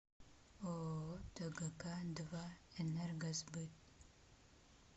ооо тгк два энергосбыт